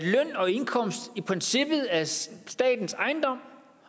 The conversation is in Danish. og indkomst i princippet er statens ejendom